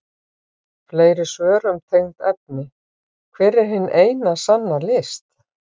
Fleiri svör um tengd efni: Hver er hin eina sanna list?